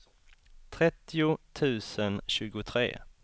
trettio tusen tjugotre